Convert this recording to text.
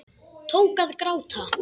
Tók að gráta.